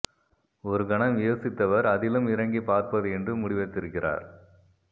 ஒரு கணம் யோசித்தவர் அதிலும் இறங்கிப் பார்ப்பது என்று முடிவெடுத்திருக்கிறார்